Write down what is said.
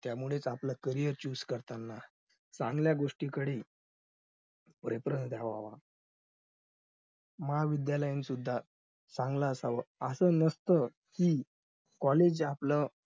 त्यामुळे आपलं carrier choose करताना चांगल्या गोष्टींकडे preference घ्यावा महाविध्यालय सुद्धा चांगलं असावं असं नसत कि college आपलं